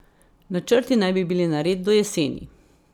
Načrti naj bi bili nared do jeseni.